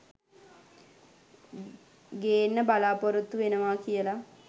ගේන්න බලාපොරොත්තු වෙනවා කියල